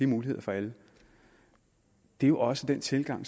muligheder for alle det er jo også den tilgang